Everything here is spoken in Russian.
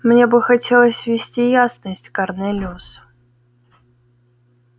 мне бы хотелось внести ясность корнелиус